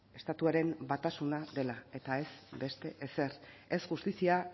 estatuaren batasuna dela eta ez beste ezer ez justizia